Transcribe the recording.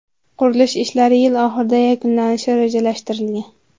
Qurilish ishlari yil oxirida yakunlanishi rejalashtirilgan.